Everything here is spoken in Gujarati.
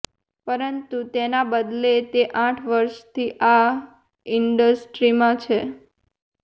પરંતુ તેના બદલે તે આઠ વર્ષથી આ ઈન્ડસ્ટ્રીમાં છે